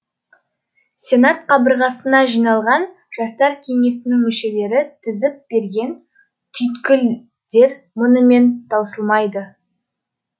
сенат қабырғасына жиналған жастар кеңесінің мүшелері тізіп берген түйткілдер мұнымен таусылмайды